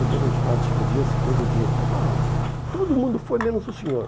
Depois de uns quatro, cinco dias, todo dia, vai pai, todo mundo foi, menos o senhor.